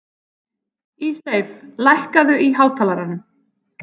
Ísleif, lækkaðu í hátalaranum.